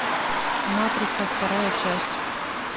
матрица вторая часть